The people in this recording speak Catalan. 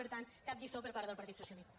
per tant cap lliçó per part del partit socialista